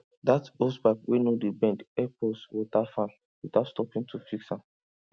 that hosepipe wey no dey bend help us water farm without stopping to fix am